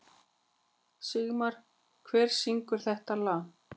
Sigmar, hver syngur þetta lag?